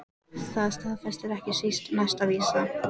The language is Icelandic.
Það staðfestir ekki síst næsta vísa